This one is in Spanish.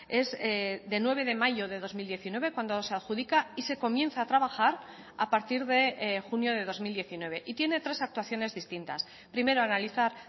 es de nueve de mayo de dos mil diecinueve cuando se adjudica y se comienza a trabajar a partir de junio de dos mil diecinueve y tiene tres actuaciones distintas primero analizar